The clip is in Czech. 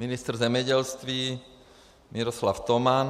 Ministr zemědělství Miroslav Toman.